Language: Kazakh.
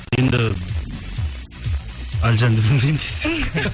енді әлжанды білмеймін десең